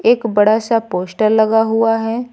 एक बड़ा सा पोस्टर लगा हुआ है।